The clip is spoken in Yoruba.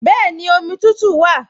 Bẹ́ẹ̀ni, omi tútù wà